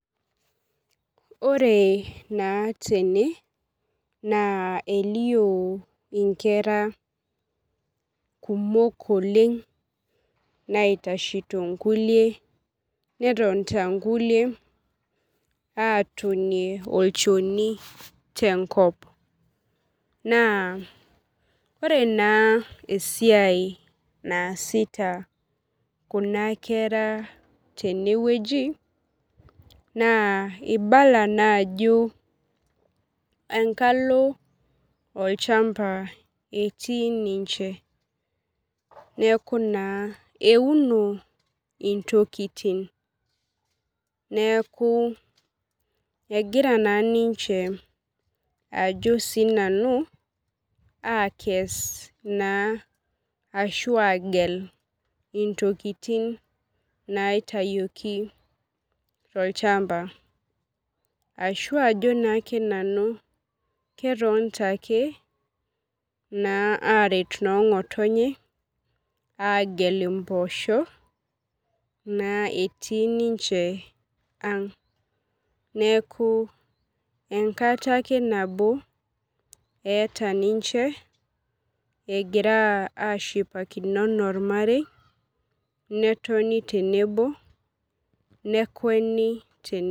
Ore na tene na elio nkera kumok oleng naitashito nkukie netonta nkulie atonie olchoni tenkop na ore na esiai naasita kuna kera tenewueji na ibala naa ajo engalo olchamba etiu ninche neaku na euno intokitin neaku egira na ninche ajo na sinanu akes ashu agel ntokitin baitayioki tolchamba ashu ajo ake nanu ketonta ake aret nongotonye agel mpoosho etii ninche aang neaku enkata nabo eeta ninche egira ashipakino ana ormarei netoni tenebo nekweni tenebo.